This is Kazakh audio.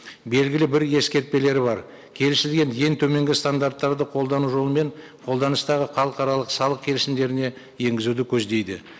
белгілі бір ескертпелері бар келісілген ең төменгі стандарттарды қолдану жолымен қоданыстағы халықаралық салық келісімдеріне енгізуді көздейді